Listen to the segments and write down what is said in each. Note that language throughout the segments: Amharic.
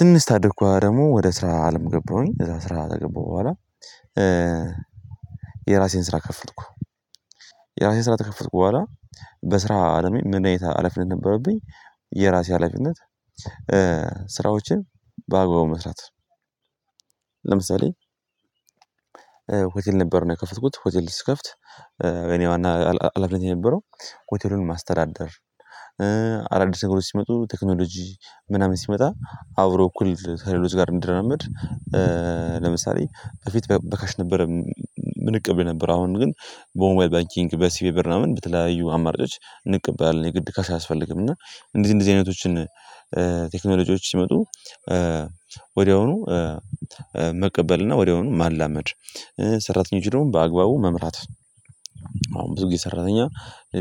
ትንሽ ካደኩ ደግሞ ወደ ስራ አለም ገባሁኝ። እዛ ስራ ከገባሁ በኋላ የራሴን ስራ ከፈትኩ። የራሴን ስራ ተከፈትኩ በኋላ በስራ አለሜ ምን አይነት ሀላፊነት ነበረብኝ የራሴ ሀላፊነት ስራዎችን በአግባቡ መስራት ለምሳሌ ሆቴል ነበር እና የከፈትኩት ሆቴል ስከፍት የኔ ዋና ሀላፊነት የነበረው ሆቴሉን ማስተዳደር፤ አዳዲስ ነገሮች ሲመጡ ቴክኖሎጂ ምናምን ሲመጣ አብሮ እኩል ከሌሎች ጋር እንዲራመድ ለምሳሌ ከፊት በካሽ ነበረ ምንቀበል የነበር። አሁን ግን በሞባይል ባኪንግ በሲቢኢ ብር ምናምን በተለያዩ አማራጮች እንቀበላለን። የግድ ካሽ አያስፈልግም። እና እንደዚህ እንደዚህ አይነቶችን ቴክኖሎጂዎች ሲመጡ ወዲያውኑ መቀበል እና ወዲያውኑ ማላመድ። ሰራተኞች ደግሞ በአግባቡ መምራት አሁን ብዙ ጊዜ ሰራተኛ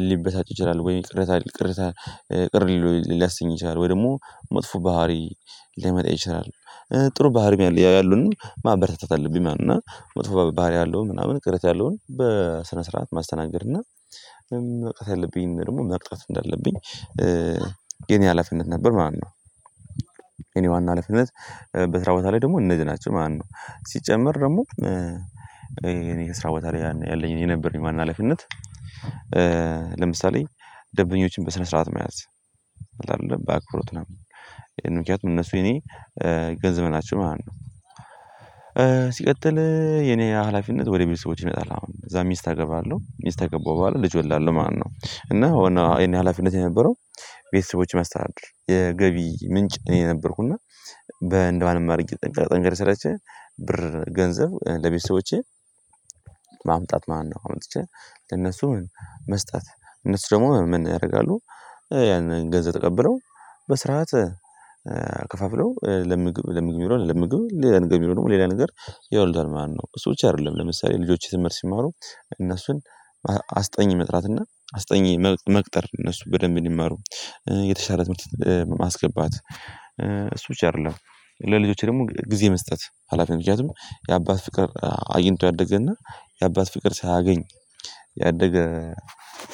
ሊበሳጭ ይችላል። ወይም ቅርታ ቅርታ ቅር ሊለው ሊያስኝ ይችላል። ወይ ደግሞ መጥፎ ባህሪ ሊያመጣ ይችላል። ጥሩ ባህሪም ያለ ያለውንም ማበረታታት አለብኝ ማለት ነው። እና መጥፎ ባህሪ ያለውን ምናምን ቅሬታ ያለውን በስነ ስርዓት ማስተናገድ እና ያለብኝን ደግሞ መቅጣት እንዳለብኝ ሀላፊነት ነበር ማለት ነው። እኔ ዋና ሃላነት በስራ ቦታ ላይ ደግሞ እነዚህ ናቸው ማለት ነው። ሲጨመር ደግሞ እኔ ከስራ ቦታ ያኔ ያለኝ የነበረኝ ዋና ሀላፊነት ለምሳሌ ደንበኛዎችን በስነ ስርዓት መያዝ። አይደለም ባክብሮት ነው። ምክንያቱም እነሱ የኔ ገንዘብ ናቸው ማለት ነው። ሲቀጥል የኔ ሀላፊነት ወደ ቤተሰቦች ይመጣል ማለት ነው። እዛ ሚስት አገባለሁ። ሚስት ካገባው በኋላ ልጅ እወልዳለሁ ማለት ነው። እና ዋናው የኔ ሀላፊነት የነበረው ቤተሰቦች ማስተዳደር የገቢ ምንጭ እኔ ነበርኩና በእንደማንም አድርጌ ጠንክሬ ሰርቼ ብር ገንዘብ ለቤተሰቦቼ ማምጣት ማለትን ነው። አምጥቼ ለነሱ ምን መስጠት። እነሱ ደግሞ ምን ያደርጋሉ ያንን ገንዘብ ተቀብለው በስርዓት ከፋፍለው ለምግብ ለምግብ የሚውለውን ለምግብ ለሌላ ነግር የሚውለውን ደግሞ ለሌላ ነገር ያውሉታል ማለት ነው። እሱ ብቻ አይደለም። ለምሳሌ ልጆች ትምህርት ሲማሩ እነሱን አስጠኝ መጥራት እና አስጠኝ መቅጠር እነሱ በደንብ እንዲመሩ የተሻለ ትምህርት ማስገባት፤ እሱ ብቻ አይደለም። ለልጆቼ ደግሞ ጊዜ መስጠት ሀላፊነት ምክንያቱም የአባት ፍቅር አግኝቶ ያደገና የአባት ፍቅር ሳያገኝ ያደገ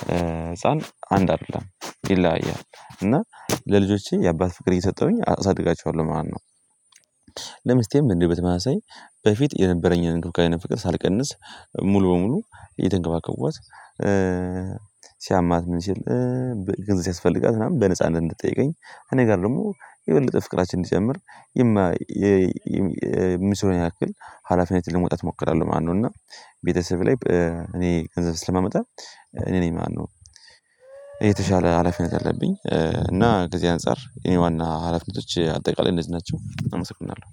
ህፃን አንድ አይደለም፤ ይለያያል። እና ለልጆቼ የአባት ፍቅር እየሰጠሁኝ አሳድጋቸዋለሁ ማለት ነው። ለምስቴም እንዲሁ በተመሳሳይ በፊት የነበረኝን እንክብካቤና ፍቅር ሳልቀንስ ሙሉ በሙሉ እየተንከባከቧት ሲያማት ምን ሲል፤ ገንዘብ ሲያስፈልጋት ምናምን በነጻነት እንድትጠይቀኝ፤ እኔ ጋር ደግሞ የበለጠ ፍቅራችን እንዲጨምር የምችለውን ያክል ሀላፊነትን ለመውጣት እሞክራለሁ ማለት ነው። እና ቤተሰብ ላይ እኔ ገንዘብ ስለማመጣ እኔ ነኝ ማለት ነው የተሻለ ሀላፊነት ያለብኝ። እና ከዚህ አንፃር የኔ ዋና ሀላፊነቶች አጠቃላይ እነዚህ ናቸው። በጣም አመሰግናለሁ።